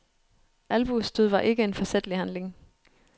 Albuestød var ikke en forsætlig handling.